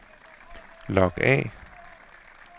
log af